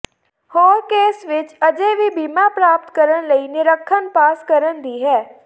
ਹੋਰ ਕੇਸ ਵਿੱਚ ਅਜੇ ਵੀ ਬੀਮਾ ਪ੍ਰਾਪਤ ਕਰਨ ਲਈ ਨਿਰੀਖਣ ਪਾਸ ਕਰਨ ਦੀ ਹੈ